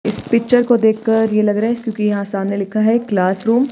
इस पिक्चर को देखकर ये लग रहा है क्योंकि यहां सामने लिखा है क्लासरूम --